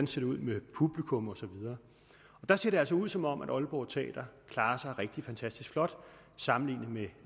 ser ud med publikum og så videre der ser det altså ud som om aalborg teater klarer sig rigtig fantastisk flot sammenlignet med